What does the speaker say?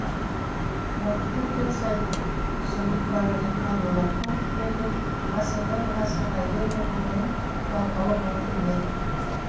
уақыт өткен сайын қусырылып бара жатқан мына қу дүниеде ғасырдан ғасырға енді ғұмырын жалғауы мүмкін бе